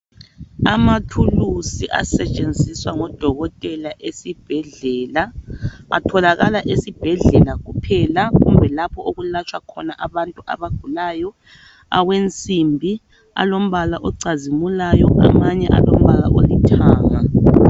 amathulusi asetshenziswa ngodokotela esibhedlela atholakala esibhedlela kuphela lapho okulatshwa khona abantu abagulayo awensimbi alombala ocazimulayo amanye alombala olithanga